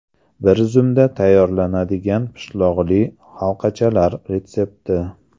Bir zumda tayyorlanadigan pishloqli halqachalar retsepti.